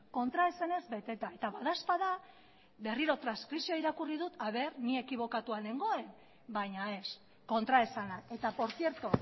kontraesanez beteta eta badaezpada berriro transkripzio irakurri dut ni ekibokatua nengoen baina ez kontraesana eta por cierto